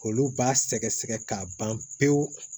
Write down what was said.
Olu b'a sɛgɛ sɛgɛ k'a ban pewu